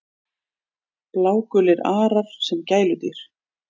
Blágulir arar sem gæludýr